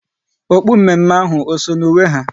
Okpu mme mme ahụ eso na uwe ha?